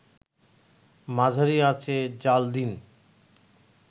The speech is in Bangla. মাঝারি আঁচে জ্বাল দিন